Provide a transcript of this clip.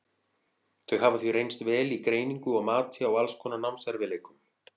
Þau hafa því reynst vel í greiningu og mati á alls konar námserfiðleikum.